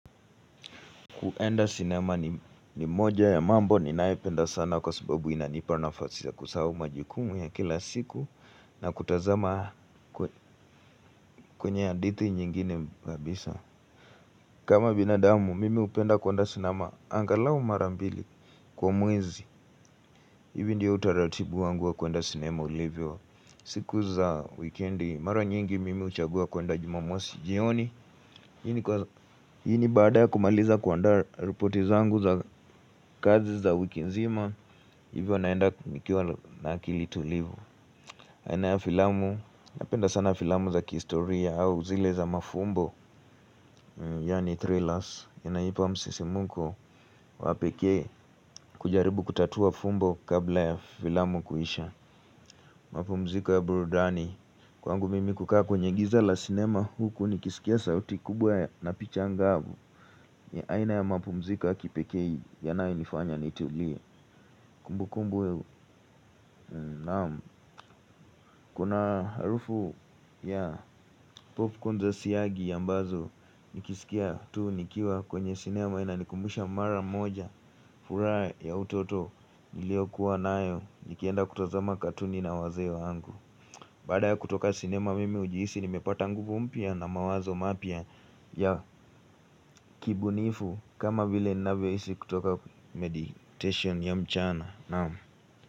Kuenda sinema ni moja ya mambo ninayopenda sana kwa sababu inanipa nafasi ya kusahau majukumu ya kila siku na kutazama kwenye hadithi nyingine kabisa. Kama binadamu, mimi hupenda kuenda sinema angalau mara mbili kwa mwezi. Hivi ndio utaratibu wangu wa kuenda sinema ulivyo siku za wikendi. Mara nyingi mimi huchagua kuenda jumamosi jioni. Hii ni baada ya kumaliza kuandaa ripoti zangu za kazi za wiki nzima. Hivyo naenda kumikiwa na akili tulivu aina ya filamu. Napenda sana filamu za kihistoria au zile za mafumbo. Yaani thrillers inanipa msisimko wa pekee kujaribu kutatua fumbo kabla ya filamu kuisha. Mapumziko ya burudani. Kwangu mimi kukaa kwenye giza la sinema huku nikisikia sauti kubwa na picha ngavu. Aina ya mapumziko ya kipekee yanayonifanya nitulie. Kumbukumbu naam, kuna harufu ya popcorn za siagi ambazo nikisikia tu nikiwa kwenye sinema inanikumbusha mara moja. Furaha ya utoto niliokuwa nayo nikienda kutazama katuni na wazee wangu. Baada ya kutoka sinema mimi hujihisi nimepata nguvu mpya na mawazo mapya ya kibunifu kama vile ninavyoishi kutoka meditation ya mchana.